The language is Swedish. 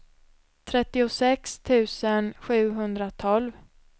trettiosex tusen sjuhundratolv